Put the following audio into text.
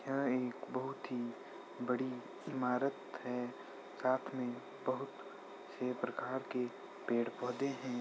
यहाँ एक बहोत ही बड़ी इमारत है। साथ में बहोत से प्रकार के पेड़ पौधे हैं।